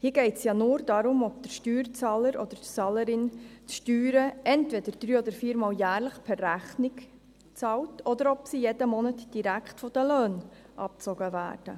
Hier geht es nur darum, ob der Steuerzahler oder die Steuerzahlerin die Steuern entweder drei oder vier Mal jährlich per Rechnung bezahlt, oder ob sie jeden Monat direkt vom Lohn abgezogen werden.